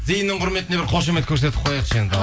зейіннің құрметіне бір қошемет көрсетіп қояйықшы енді